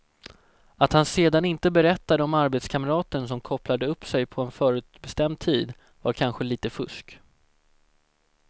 Att han sedan inte berättade om arbetskamraten som kopplade upp sig på en förutbestämd tid var kanske lite fusk.